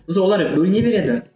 біз олар бөліне береді